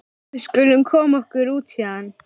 Við skulum koma okkur út héðan.